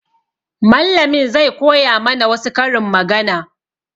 Mallamin zai koya ma na wa su karin magana